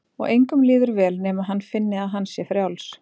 Og engum líður vel nema hann finni að hann sé frjáls.